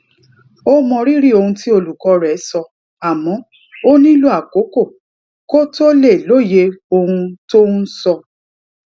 ó mọrírì ohun tí olùkó rè sọ àmó ó nílò àkókò kó tó lè lóye ohun tó ń sọ